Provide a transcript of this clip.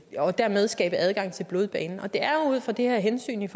og dermed skabe adgang til blodbanen det er jo ud fra det her hensyn